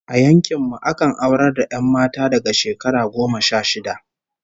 A yankin mu akan aurar da 'yan mata daga shekara goma sha shida